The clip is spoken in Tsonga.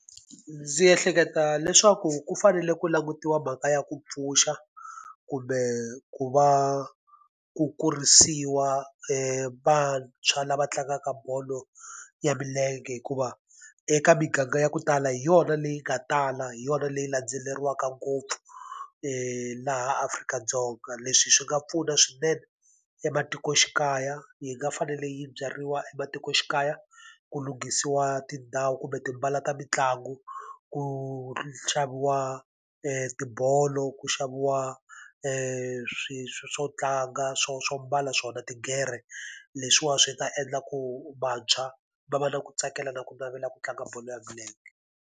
Ndzi ehleketa leswaku ku fanele ku langutiwa mhaka ya ku pfuxa, kumbe ku va ku kurisiwa vantshwa lava tlangaka bolo ya milenge hikuva eka miganga ya ku tala hi yona leyi nga tala, hi yona leyi landzeleriwaka ngopfu laha Afrika-Dzonga. Leswi swi nga pfuna swinene ematikoxikaya, yi nga fanele yi byariwa ematikoxikaya ku lunghisiwa tindhawu kumbe tipala ta mitlangu, ku xaviwa tibolo, ku xaviwa swo tlanga swo swo mbala swona tigere leswiwani swi ta endla ku vantshwa va va na ku tsakela na ku navela ku tlanga bolo ya milenge.